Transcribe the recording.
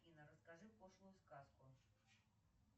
афина расскажи пошлую сказку